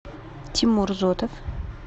тимур зотов